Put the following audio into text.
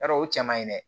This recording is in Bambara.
Yarɔ o cɛ man ɲi dɛ